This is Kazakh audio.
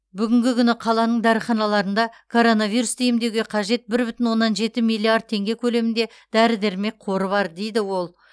бүгінгі күні қаланың дәріханаларында коронавирусты емдеуге қажет бір бүтін оннан жеті миллиард теңге көлемінде дәрі дәрмек қоры бар дейді ол